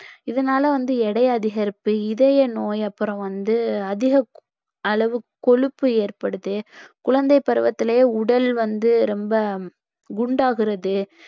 இதனால வந்து எடை அதிகரிப்பு, இதய நோய் அப்புறம் வந்து அதிக அளவு கொழுப்பு ஏற்படுது குழந்தைப்பருவத்திலேயே உடல் வந்து ரொம்ப குண்டாகுறது